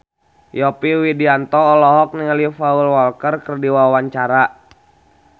Yovie Widianto olohok ningali Paul Walker keur diwawancara